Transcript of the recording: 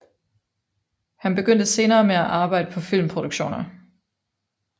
Han begyndte senere med at arbejde på filmproduktioner